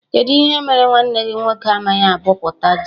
Kedụ ihe mere nwanne gị nwoke amaghị abọpụta ji?